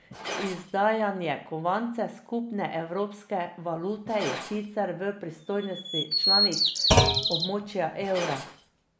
Izdajanje kovancev skupne evropske valute je sicer v pristojnosti članic območja evra.